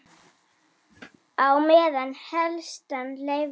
Á meðan heilsan leyfði.